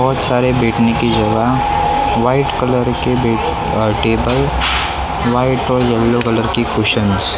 बहुत सारे बैठने की जगह वाइट कलर के बे अ टेबल वाइट और येल्लो कलर के कुशनस --